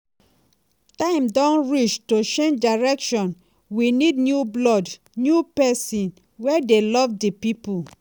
"time don reach to change direction we need new blood new pesin wey dey love di pipo."